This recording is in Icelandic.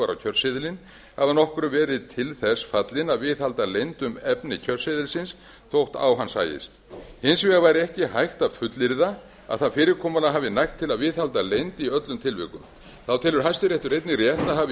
var á kjörseðilinn hafi að nokkru verið til þess fallin að viðhalda leynd um efni kjörseðilsins þótt á hann sæist hins vegar var ekki hægt að fullyrða að það fyrirkomulag hafi nægt til að viðhalda leynd í öllum tilvikum þá telur hæstiréttur einnig rétt að